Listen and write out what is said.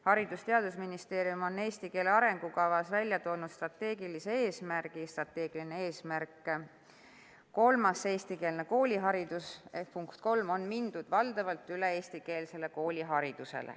Haridus- ja Teadusministeerium on "Eesti keele arengukavas 2021–2035" välja toonud strateegilise eesmärgi nr 3: "Eestikeelne kooliharidus – on mindud valdavalt üle eestikeelsele kooliharidusele."